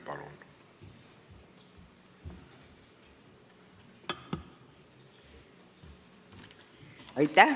Palun!